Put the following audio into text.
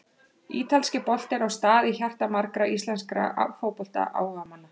Ítalski boltinn á stað í hjarta margra íslenskra fótboltaáhugamanna.